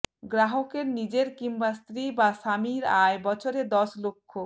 গ্রাহকের নিজের কিংবা স্ত্রী বা স্বামীর আয় বছরে দশ লক্ষ